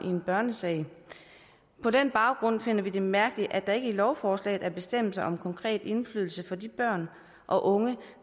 i en børnesag på den baggrund finder vi det mærkeligt at der ikke i lovforslaget er bestemmelser om konkret indflydelse for de børn og unge